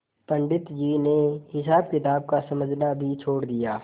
पंडित जी ने हिसाबकिताब का समझना भी छोड़ दिया